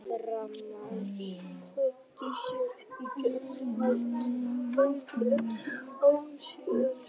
Framarar sköpuðu sér í kjölfarið hættuleg færi en án árangurs.